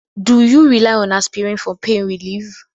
Do you rely on aspirin for pain relief?